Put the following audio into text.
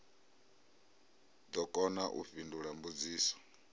ḓo kona u fhindula mbudziso